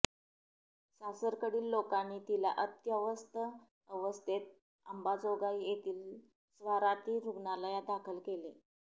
सासरकडील लोकांनी तिला अत्यवस्थ अवस्थेत अंबाजोगाई येथील स्वाराती रुग्णालयात दाखल केले